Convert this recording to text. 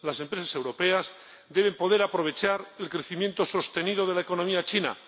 Las empresas europeas deben poder aprovechar el crecimiento sostenido de la economía china.